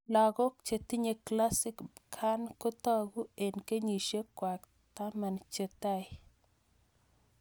Lakok che tinye Classic Pkan ko tag'u eng' kenyishek kwai taman che tai